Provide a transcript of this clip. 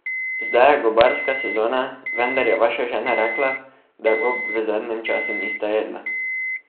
Zdaj je gobarska sezona, vendar je vaša žena rekla, da gob v zadnjem času nista jedla.